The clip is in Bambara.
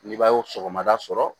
Ni b'a ye sɔgɔmada sɔrɔ